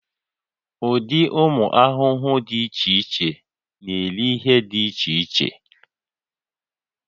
Ụdị ụmụ ahụhụ dị iche iche na-eri ihe dị iche iche